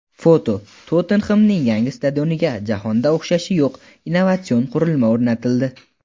Foto: "Tottenhem"ning yangi stadioniga jahonda o‘xshashi yo‘q innovatsion qurilma o‘rnatildi.